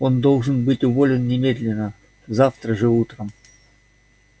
он должен быть уволен немедленно завтра же утром